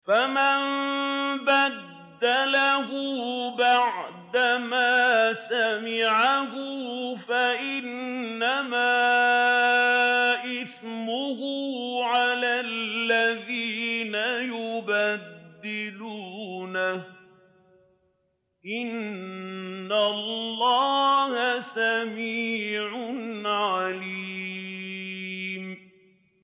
فَمَن بَدَّلَهُ بَعْدَمَا سَمِعَهُ فَإِنَّمَا إِثْمُهُ عَلَى الَّذِينَ يُبَدِّلُونَهُ ۚ إِنَّ اللَّهَ سَمِيعٌ عَلِيمٌ